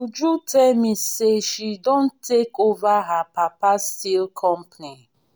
uju tell me say she don take over her papa steel company